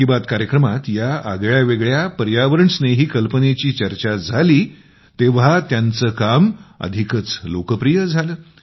मन की बात कार्यक्रमात या आगळ्यावेगळ्या पर्यावरणस्नेही कल्पनेची चर्चा झाली तेव्हा त्यांचं काम आणखीच लोकप्रिय झालं